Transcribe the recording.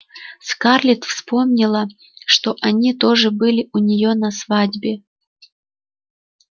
скарлетт вспомнила что они тоже были у неё на свадьбе